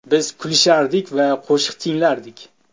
Biz kulishardik va qo‘shiq tinglardik.